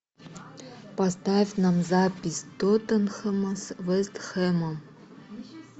поставь нам запись тоттенхэма с вест хэмом